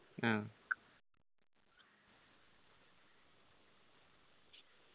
ആ